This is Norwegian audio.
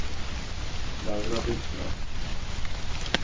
Laura Birkeland